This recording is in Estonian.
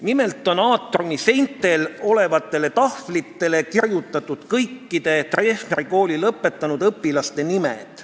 Nimelt on aatriumi seintel olevatele tahvlitele kirjutatud kõikide Treffneri kooli lõpetanud õpilaste nimed.